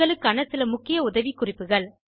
உங்களுக்கான சில முக்கிய உதவிக்குறிப்புகள்